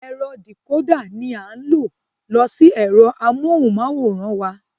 Ẹ̀rọ dìkódà ní a ń lo sí ẹ̀rọ amóhùnmáwòrán wa.